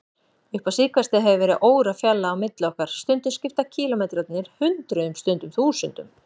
Upp á síðkastið hefur verið órafjarlægð á milli okkar, stundum skipta kílómetrarnir hundruðum, stundum þúsundum.